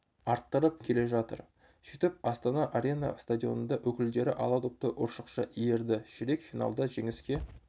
арттырып келе жатыр сөйтіп астана арена стадионында өкілдері ала допты ұршықша иірді ширек финалда жеңіске